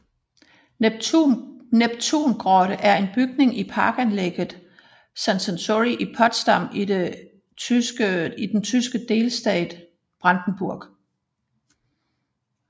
Neptungrotte er en bygning i parkanlægget Sanssouci i Potsdam i den tyske delstat Brandenburg